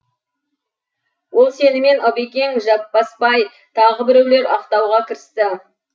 ол сенімін ыбекең жаппасбай тағы біреулер ақтауға кірісті